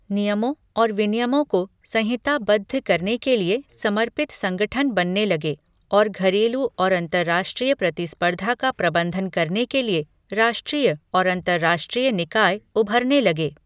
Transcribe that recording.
नियमों और विनियमों को संहिताबद्ध करने के लिए समर्पित संगठन बनने लगे और घरेलू और अंतर्राष्ट्रीय प्रतिस्पर्धा का प्रबंधन करने के लिए राष्ट्रीय और अंतर्राष्ट्रीय निकाय उभरने लगे।